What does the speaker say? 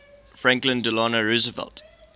franklin delano roosevelt